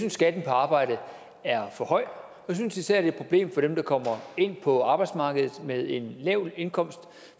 at skatten på arbejde er for høj jeg synes især er et problem for dem der kommer ind på arbejdsmarkedet med en lav indkomst